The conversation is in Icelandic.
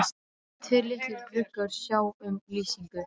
Tveir litlir gluggar sjá um lýsingu